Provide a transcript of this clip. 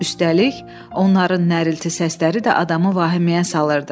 Üstəlik, onların nərilti səsləri də adamı vahiməyə salırdı.